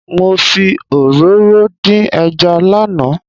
Mo fi òróró dín ẹja lánàá.